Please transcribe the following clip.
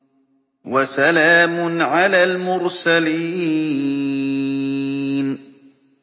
وَسَلَامٌ عَلَى الْمُرْسَلِينَ